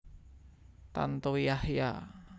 Tantowi Yahya